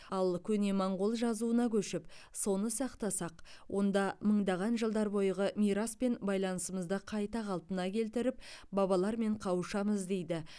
ал көне моңғол жазуына көшіп соны сақтасақ онда мыңдаған жылдар бойғы мираспен байланысымызды қайта қалпына келтіріп бабалармен қауышамыз дейді